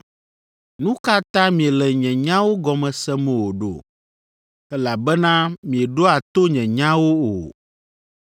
Nu ka ta miele nye nyawo gɔme sem o ɖo? Elabena mieɖoa to nye nyawo o.